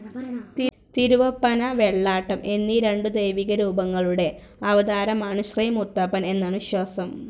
തിരുവപ്പന, വെള്ളാട്ടം എന്നീ രണ്ടു ദൈവിക രൂപങ്ങളുടെ അവതാരമാണ് ശ്രീ മുത്തപ്പൻ എന്നാണ് വിശ്വാസം.